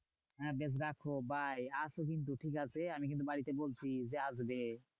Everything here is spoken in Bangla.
হ্যাঁ বেশ রাখো bye আসো কিন্তু ঠিক আছে আমি কিন্তু বাড়িতে বলছি যে আসবে?